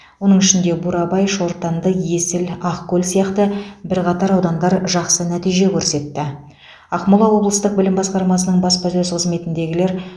оның ішінде бурабай шортанды есіл ақкөл сияқты бірқатар аудандар жақсы нәтиже көрсетті ақмола облыстық білім басқармасының баспасөз қызметіндегілер